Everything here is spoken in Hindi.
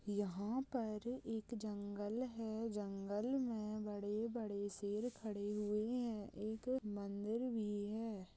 यहाँ पर एक जंगल है जंगल में बड़े-बड़े शेर खड़े हुए हैं एक मंदिर भी है।